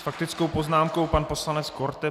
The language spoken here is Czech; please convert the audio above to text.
S faktickou poznámkou pan poslanec Korte.